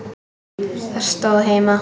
Það stóð heima.